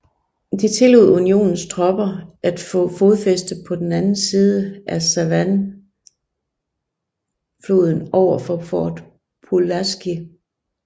Det tillod Unionens tropper at få fodfæste på den anden side af Savannahfloden overfor Fort Pulaski